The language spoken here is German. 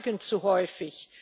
Wir schweigen zu häufig.